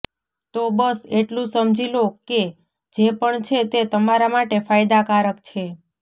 તો બસ એટલું સમજી લો કે જે પણ છે તે તમારા માટે ફાયદાકારક છે